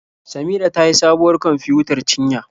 Samira ta sayi sabuwar kwamfiyutar cinya.